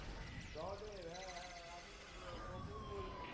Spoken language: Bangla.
সহদেব হ্যাঁ হ্যাঁ হ্যাঁ আমি আহ নকুল বলছি।